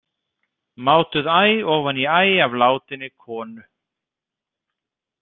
Mátuð æ ofan í æ af látinni konu.